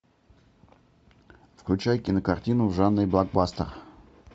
включай кинокартину в жанре блокбастер